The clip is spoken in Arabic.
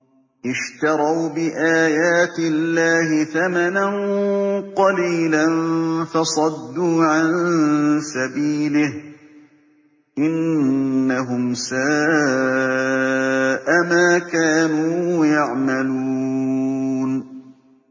اشْتَرَوْا بِآيَاتِ اللَّهِ ثَمَنًا قَلِيلًا فَصَدُّوا عَن سَبِيلِهِ ۚ إِنَّهُمْ سَاءَ مَا كَانُوا يَعْمَلُونَ